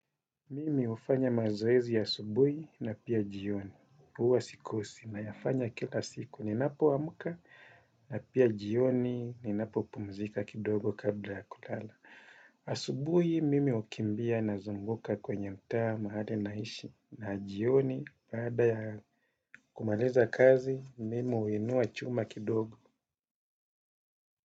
Mimi ufanya mazoezi ya subuhi na pia jioni uwa sikosi nayafanya kila siku ninapo amuka na pia jioni ninapo pumzika kidogo kabla ya kulala. Asubuhi mimi ukimbia na zunguka kwenye mtaa mahali naishi na jioni baada kumaliza kazi mimi uinua chuma kidogo.